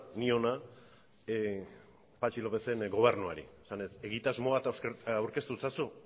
niona patxi lópezen gobernuari esanez egitasmo bat aurkeztu ezazu